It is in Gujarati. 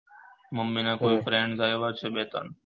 મમ્મી ના કોઈ friend આયા છે બે ત્રણ